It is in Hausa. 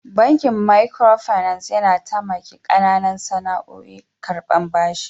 Bankin "micro finance " yana tamaki kananan sana'oƴ karban bashi.